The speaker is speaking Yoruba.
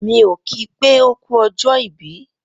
Mi o ki pé oku ọjọ ìbí.